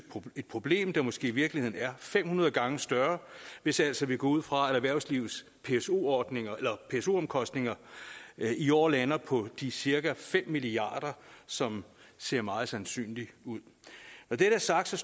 et problem der måske i virkeligheden er fem hundrede gange større hvis vi altså går ud fra at erhvervslivets pso omkostninger i år lander på cirka fem milliard kr som ser meget sandsynligt ud når det er sagt